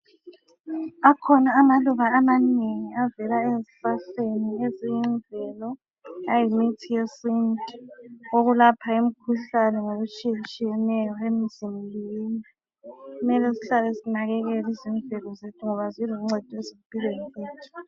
Akhona amaluba amanengi avela ezihlahleni ezemvelo ayimithi yesintu, okulapha imikhuhlane ngokutshiyetshiyeneyo emzimbeni. Kumele sihlale sinakekela izimvelo zethu ngoba ziluncedo ezimpilweni zethu.